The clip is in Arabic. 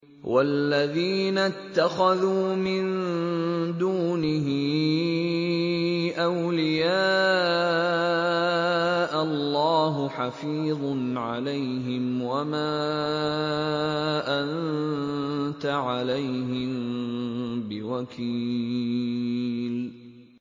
وَالَّذِينَ اتَّخَذُوا مِن دُونِهِ أَوْلِيَاءَ اللَّهُ حَفِيظٌ عَلَيْهِمْ وَمَا أَنتَ عَلَيْهِم بِوَكِيلٍ